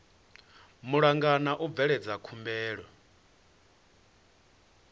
malugana na u bveledza khumbelo